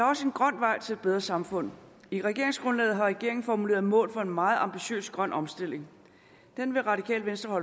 også en grøn vej til et bedre samfund i regeringsgrundlaget har regeringen formuleret nogle mål for en meget ambitiøs grøn omstilling den vil radikale venstre